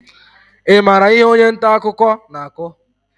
Ị maara ihe onye nta akụkọ na-akọ?